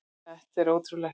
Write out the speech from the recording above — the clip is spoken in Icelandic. Þetta er ótrúlegt!